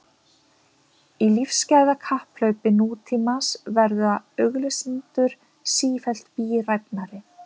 Í lífsgæðakapphlaupi nútímans verða auglýsendur sífellt bíræfnari.